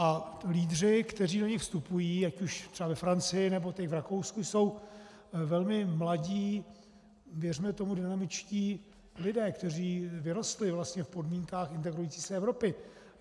A lídři, kteří do nich vstupují, ať už třeba ve Francii, nebo teď v Rakousku, jsou velmi mladí, věřme tomu, dynamičtí lidé, kteří vyrostli vlastně v podmínkách integrující se Evropy.